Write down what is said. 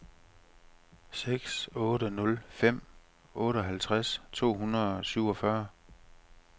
seks otte nul fem otteoghalvtreds to hundrede og syvogfyrre